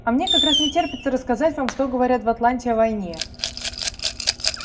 а мне как раз не терпится рассказать вам что говорят в атланте о войне